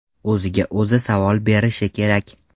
O‘ziga o‘zi savol berishi kerak.